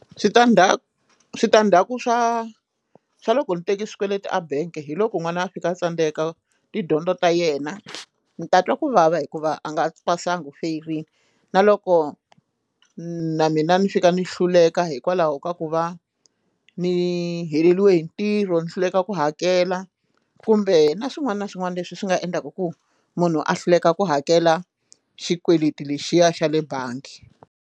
Switandzhaku switandzhaku swa swa loko ni teke swikweleti a bank hi loko n'wana a fika a tsandzeka tidyondzo ta yena ndzi ta twa kuvava hikuva a nga pasanga u feriwile na loko na mina ni fika ni hluleka hikwalaho ka ku va ni heleriwe hi ntirho ni hluleka ku hakela kumbe na swin'wana na swin'wana leswi swi nga endlaka ku munhu a hluleka ku hakela xikweleti lexiya xa le bangi.